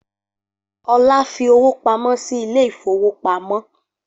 Olá fi owó pamọ́ sí ilé ìfowópamọ́